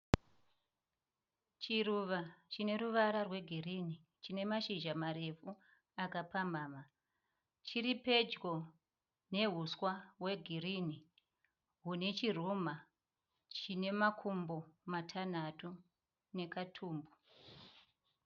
Chiruva chineruvara rwegirini. Chinemazhizha marefu akapamhamha. Chiripedyo nehuswa hwegirinhi hune chinemakumbo matanhatu nekatumbu.